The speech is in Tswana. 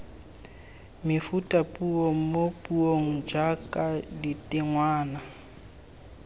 mefutapuo mo puong jaaka ditengwana